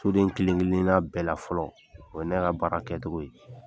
Soden kelen kelenna bɛɛ la fɔlɔ, o ye ne ka baara kɛcogo ye.